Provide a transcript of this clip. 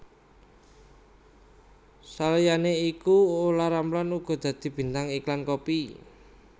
Saliyané iku Olla Ramlan uga dadi bintang iklan kopi